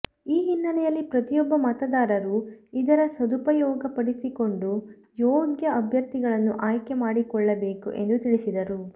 ಈ ಹಿನ್ನೆಲೆಯಲ್ಲಿ ಪ್ರತಿಯೊಬ್ಬ ಮತದಾರರು ಇದರ ಸದುಪಯೋಗ ಪಡಿಸಿಕೊಂಡು ಯೋಗ್ಯ ಅಭ್ಯರ್ಥಿಗಳನ್ನು ಆಯ್ಕೆ ಮಾಡಿಕೊಳ್ಳಬೇಕು ಎಂದು ತಿಳಿಸಿದರು